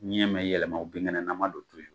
Ɲɛ ma yɛlɛma, o bingɛnnɛnaman don yen